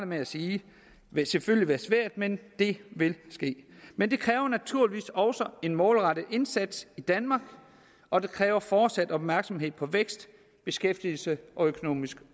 med at sige selvfølgelig være svært men det vil ske men det kræver naturligvis også en målrettet indsats i danmark og det kræver fortsat opmærksomhed på vækst beskæftigelse og økonomisk